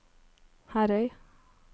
Herøy